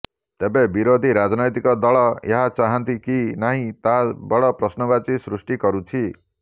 ତେବେ ବିରୋଧୀ ରାଜନୈତିକ ଦଳ ଏହା ଚାହାନ୍ତି କି ନାହିଁ ତାହା ବଡ଼ ପ୍ରଶ୍ନବାଚୀ ସୃଷ୍ଟି କରୁଛି